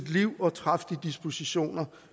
liv og træffe de dispositioner